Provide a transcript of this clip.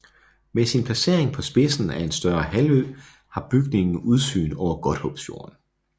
Med sin placering på spidsen af en større halvø har bygningen udsyn over Godthåbsfjorden